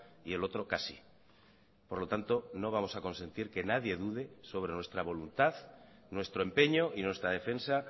y el otro casi por lo tanto no vamos a consentir que nadie dude sobre nuestra voluntad nuestro empeño y nuestra defensa